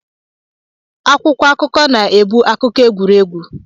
Akwụkwọ akụkọ na-ebu akụkọ egwuregwu.